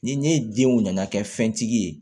Ni ne denw nana kɛ fɛn tigi ye